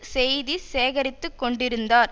செய்தி சேகரித்திக்கொண்டிருந்தார்